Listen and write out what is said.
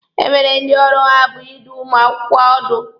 E nwere ndị ọrụ ha bụ ịdụ ụmụ akwụkwọ ọdụ.